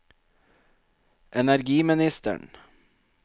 energiministeren